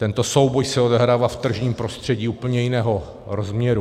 Tento souboj se odehrává v tržním prostředí úplně jiného rozměru.